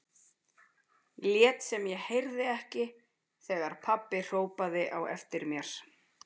Lét sem ég heyrði ekki neitt þegar pabbi hrópaði á eftir mér.